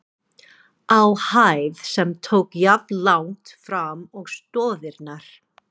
á hæð, sem tók jafnlangt fram og stoðirnar.